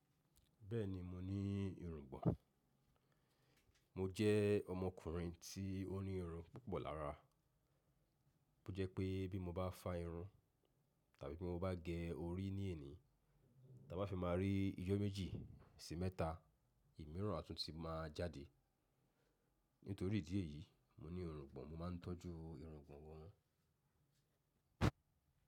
Bẹ́ẹ̀ni, mo ní irùngbọ̀n. Mo jẹ́ ọmọkùnrin tí ó ní irun púpọ̀ lára. Ó jẹ́ pé bí mo bá fa irun, tàbí bí mo bá gẹ orí ní èní, ta bá fi máa rí ijó méjì sí mẹ́ta, òmíràn átúnti má a jáde. Nítorí ìdí èyí, mo ní irùngbọ̀n, mo máa ń tọ́jú irùngbọ̀n wọn.